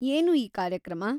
ಏನು ಈ ಕಾರ್ಯಕ್ರಮ?